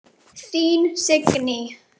Þín Signý.